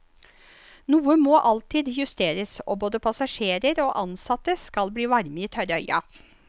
Noe må alltid justeres, og både passasjerer og ansatte skal bli varme i trøya.